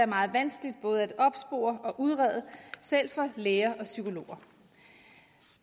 meget vanskeligt både at opspore og udrede selv for læger og psykologer